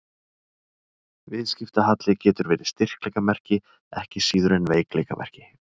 Viðskiptahalli getur verið styrkleikamerki ekki síður en veikleikamerki.